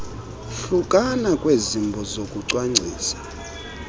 hlukana kwezimbo zokucwangcisa